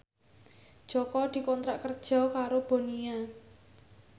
Jaka dikontrak kerja karo Bonia